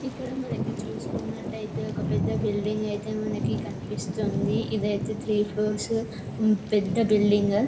ఇక్కడ మనకి చూసుకునటైతే ఒక పెద్ద బిల్డింగ్ అయితే మనకి కనిపిస్తుంది ఇది అయితే త్రీ ఫోర్స్ మ్ పెద్ద బిల్డింగ్ .